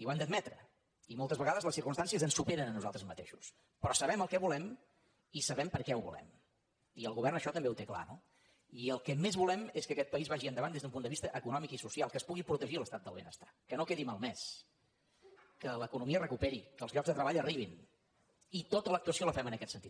i ho hem d’admetre i molts vegades les circumstàncies ens superen a nosaltres mateixos però sabem el què volem i sabem per què ho volem i el govern això també ho té clar no i el que més volem és que aquest país va·gi endavant des d’un punt de vista econòmic i social que es pugui protegir l’estat del benestar que no quedi malmès que l’economia es recuperi que els llocs de treball arribin i tota l’actuació la fem en aquest sentit